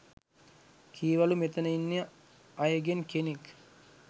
කීවලු මෙතන ඉන්න අයගෙන් කෙනෙක්